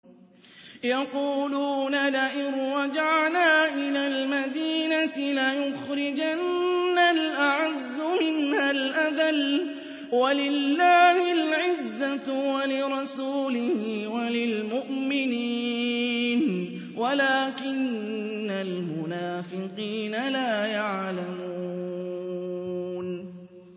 يَقُولُونَ لَئِن رَّجَعْنَا إِلَى الْمَدِينَةِ لَيُخْرِجَنَّ الْأَعَزُّ مِنْهَا الْأَذَلَّ ۚ وَلِلَّهِ الْعِزَّةُ وَلِرَسُولِهِ وَلِلْمُؤْمِنِينَ وَلَٰكِنَّ الْمُنَافِقِينَ لَا يَعْلَمُونَ